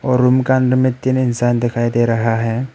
Room का अंदर में तीन इंसान दिखाई दे रहा है।